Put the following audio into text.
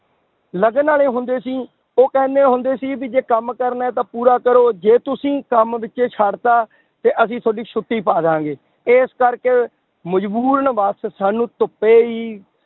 ਲਗਨ ਵਾਲੇ ਹੁੰਦੇ ਸੀ, ਉਹ ਕਹਿੰਦੇ ਹੁੰਦੇ ਸੀ ਵੀ ਜੇ ਕੰਮ ਕਰਨਾ ਹੈ ਤਾਂ ਪੂਰਾ ਕਰੋ ਜੇ ਤੁਸੀਂ ਕੰਮ ਵਿੱਚੇ ਛੱਡ ਦਿੱਤਾ ਤੇ ਅਸੀਂ ਤੁਹਾਡੀ ਛੁੱਟੀ ਪਾ ਦੇਵਾਂਗੇ, ਇਸ ਕਰਕੇ ਮਜ਼ਬੂਰਨ ਬਸ ਸਾਨੂੰ ਧੁੱਪੇ ਹੀ